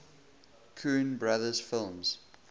coen brothers films